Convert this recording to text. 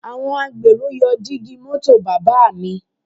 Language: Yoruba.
Àwọn agbèrò yọ dígí ẹ̀gbẹ́ mọ́tò bàbá mi